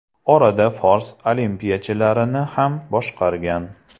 Orada fors olimpiyachilarini ham boshqargan.